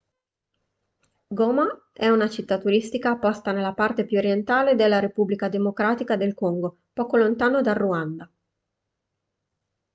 goma è una città turistica posta nella parte più orientale della repubblica democratica del congo poco lontano dal ruanda